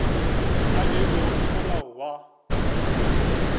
a beilwego ke molao wa